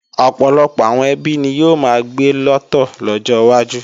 Ọ̀pọ̀lọpọ̀ àwọn ẹbí ni yóò máa gbé lọ́tọ̀ lọ́jọ wájú